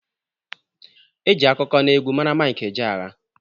E ji akụkọ n'egwu mara Mike Ejeagha.